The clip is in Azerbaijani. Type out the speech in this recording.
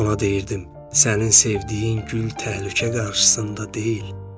Ona deyirdim: Sənin sevdiyin gül təhlükə qarşısında deyil.